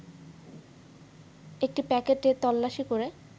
একটি প্যাকেটে তল্লাশি করে